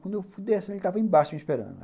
Quando eu fui descendo, ele tava embaixo me esperando.